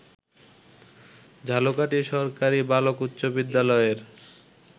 ঝালকাঠী সরকারি বালক উচ্চ বিদ্যালয়ের